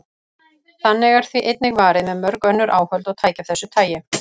Þannig er því einnig varið með mörg önnur áhöld og tæki af þessu tagi.